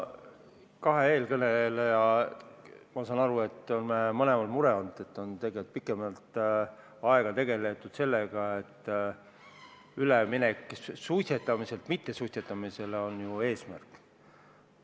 Ma saan kahe eelkõneleja puhul aru, et neil mõlemal on mure olnud, et pikemat aega on tegeldud sellega, et üleminek suitsetamiselt mittesuitsetamisele on eesmärk.